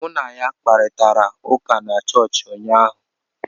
M na ya kparịtara ụka na chọọchị ụnyaahụ